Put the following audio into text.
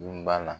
Dunba la